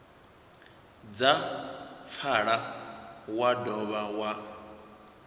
dza pfala wa dovha wa